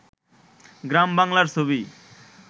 গ্রাম বাংলার ছবি